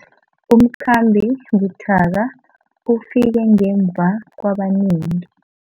Umkhambi buthaka ufike ngemva kwabanengi.